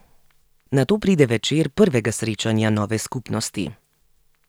Nato pride večer prvega srečanja nove skupnosti.